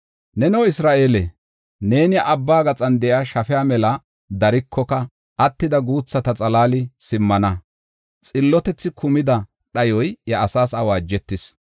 Neno Isra7eele, neeni abba gaxan de7iya shafiya mela darikoka, attida guuthata xalaali simmana. Xillotethi kumida dhayoy iya asaas awaajetis.